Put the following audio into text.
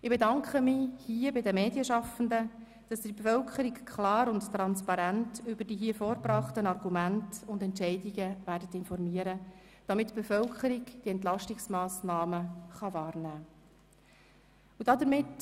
Ich bedanke mich bei den Medienschaffenden, dass sie die Bevölkerung klar und transparent über die hier vorgebrachten Argumente und Entscheidungen informieren werden, damit die Bevölkerung die Entlastungsmassnahmen wahrnehmen kann.